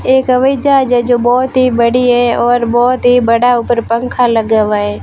एक हवाई जहाज है जो बहुत ही बड़ी है और बहुत ही बड़ा ऊपर पंखा लगा हुआ है।